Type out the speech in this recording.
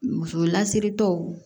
Muso lasiritaw